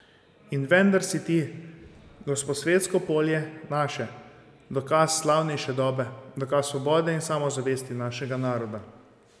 In vendar si ti, Gosposvetsko polje, naše, dokaz slavnejše dobe, dokaz svobode in samozavesti našega naroda.